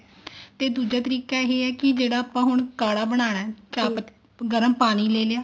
ਤੇ ਦੂਜਾ ਤਰੀਕਾ ਇਹ ਹੈ ਜਿਹੜਾ ਆਪਾਂ ਹੁਣ ਕਾਢਾ ਬਣਾਉਣਾ ਗਰਮ ਪਾਣੀ ਲੈਲਿਆ